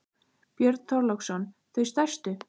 Björn Þorláksson: Þau stærstu?